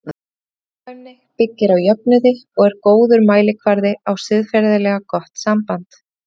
Gagnkvæmni byggir á jöfnuði og er góður mælikvarði á siðferðilega gott samband.